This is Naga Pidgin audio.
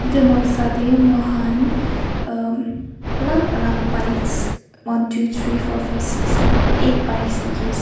Etu noksa dae mokhan umm alak alak bikes one two three four five six seven eight bikes dekhe ase.